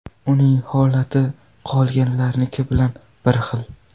Uning holati qolganlarniki bilan bir xil.